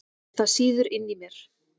Það sýður inni í mér.